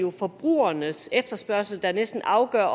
er forbrugernes efterspørgsel der næsten afgør